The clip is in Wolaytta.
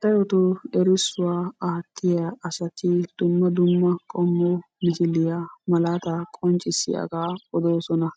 Darotoo erissuwa aattiya asati dumma dumma qommo misiliya malaataa qonccissiyaagaa odoosona.